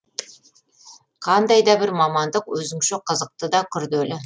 қандай да бір мамандық өзіңше қызықты да күрделі